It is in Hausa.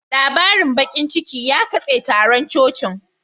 Labarin bakin ciki ya katse taron cocin